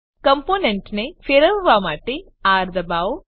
કમ્પોનેન્ટને ફેરવવા માટે આર દબાવો